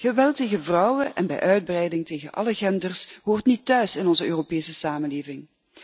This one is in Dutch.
Geweld tegen vrouwen, en bij uitbreiding tegen alle genders, hoort niet thuis in onze Europese samenleving.